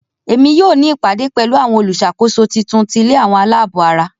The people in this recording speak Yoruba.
Emi yoo ni ìpàdé pẹ̀lu àwon olúṣàkóso titun ti ilé àwọn aláàbò ara.